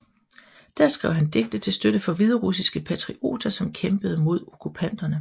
Der skrev han digte til støtte for hviderussiske patrioter som kæmpede mod okkupanterne